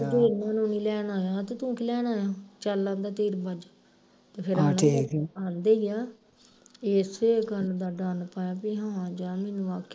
ਬਈ ਤੂੰ ਇਨ੍ਹਾਂ ਨੂੰ ਨੀ ਲੈਣ ਆਇਆ ਤੇ ਤੂੰ ਕੀ ਲੈਣ ਆਇਆ ਚੱਲ ਅੰਦਰ ਤੀਰ ਬੱਝ ਤੇ ਫਿਰ ਆਂਦੇ ਆਂ ਦੇ ਈ ਆ ਇਸੇ ਗੱਲ ਦਾ ਡਰ ਪਾਇਆ ਬਈ ਹਾਂ ਜਾਂ ਮੈਨੂੰ ਆਖਿਆ